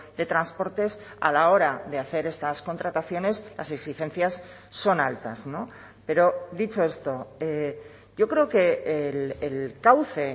de transportes a la hora de hacer estas contrataciones las exigencias son altas pero dicho esto yo creo que el cauce